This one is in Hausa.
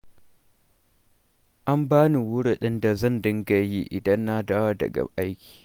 An bani wurudin da zan dinga yi idan na dawo daga aiki.